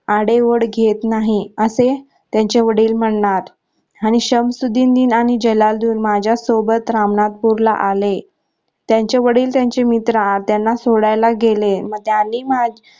आढेओढे घेत नाही असे त्यांचे वडील म्हणणार आणि शमशुद्धीन नी आणि जलाल्लुद्धीन माझ्या सोबत रामनाथपुरला आले त्यांचे वडील त्यांचे मित्र त्यांना सोडायला गेले मग